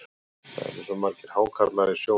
Það eru svo margir hákarlar í sjónum.